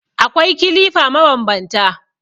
Akwai kilifa mabanbanta.